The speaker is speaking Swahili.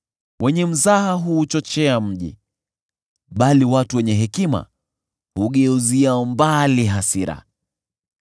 Wenye mzaha huuchochea mji, bali watu wenye hekima hugeuzia mbali hasira.